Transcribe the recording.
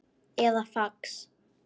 eða fax